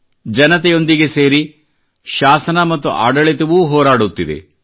ಜನತೆಯೊಂದಿಗೆ ಸೇರಿ ಶಾಸನ ಮತ್ತು ಆಡಳಿತವೂ ಹೋರಾಡುತ್ತಿದೆ